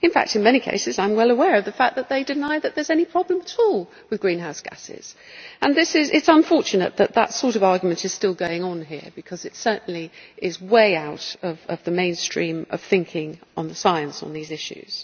In fact, in many cases I am well aware that they deny that there is any problem at all with greenhouse gases, and it is unfortunate that this sort of argument is still going on here, because it certainly is way out of the mainstream of thinking on the science of these issues.